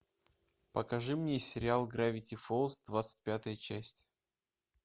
покажи мне сериал гравити фолз двадцать пятая часть